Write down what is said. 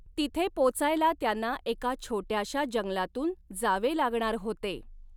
तिथे पोचायला त्यांना एका छोट्याशा जंगलातून जावे लागणार होते.